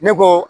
Ne ko